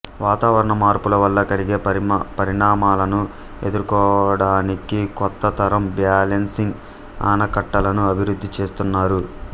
వాతావరణ మార్పుల వల్ల కలిగే పరిణామాలను ఎదుర్కోవడానికి కొత్త తరం బ్యాలెన్సింగ్ ఆనకట్టలను అభివృద్ధి చేస్తున్నారు